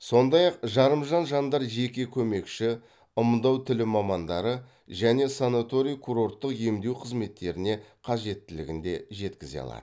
сондай ақ жарымжан жандар жеке көмекші ымдау тілі мамандары және санаторий курорттық емдеу қызметтеріне қажеттілігін де жеткізе алады